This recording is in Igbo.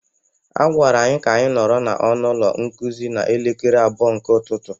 A gwara anyị ka anyị nọrọ n'ọnụ ụlọ nkuzi n'elekere abụọ nke ụtụtụ.